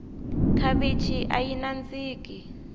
khavichi ayi nandziki